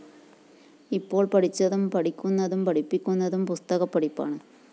ഇപ്പോള്‍ പഠിച്ചതും പഠിക്കുന്നതും പഠിപ്പിക്കുന്നതും പുസത്കപ്പഠിപ്പാണ്